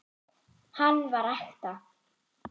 Hann var ekta.